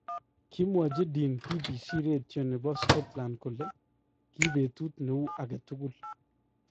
Kimwachi Dean BBC retyoo nebo Scotland kole : kii betut neu agetukul .